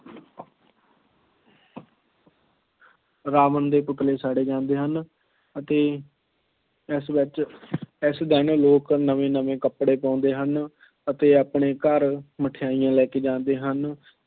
ਰਾਵਣ ਦੇ ਪੁਤਲੇ ਸਾੜੇ ਜਾਂਦੇ ਹਨ ਅਤੇ ਇਸ ਵਿੱਚ ਇਸ ਦਿਨ ਲੋਕ ਨਵੇਂ ਨਵੇਂ ਕੱਪੜੇ ਪਾਉਂਦੇ ਹਨ ਅਤੇ ਆਪਣੇ ਘਰ ਮਠਿਆਈਆਂ ਲੈ ਕੇ ਜਾਂਦੇ ਹਨ।